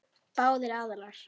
Báðir aðilar.